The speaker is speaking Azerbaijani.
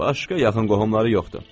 Başqa yaxın qohumları yoxdur.